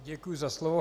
Děkuji za slovo.